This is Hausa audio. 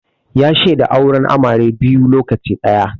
Ya shaida auren amare biyu lokaci ɗaya